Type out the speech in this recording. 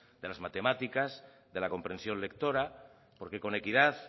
de las matemáticas de la comprensión lectora porque con equidad